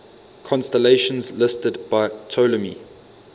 constellations listed by ptolemy